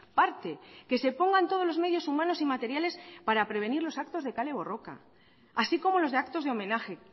parte que se pongan todos los medios humanos y materiales para prevenir los actos de kale borroka así como los actos de homenaje